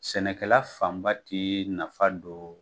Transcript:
Sɛnɛkɛla fanba ti nafa don